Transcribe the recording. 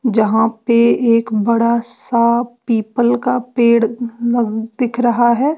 जहां पे एक बड़ा सा पीपल का पेड़ लग दिख रहा है।